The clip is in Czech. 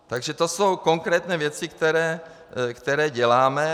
Takže to jsou konkrétní věci, které děláme.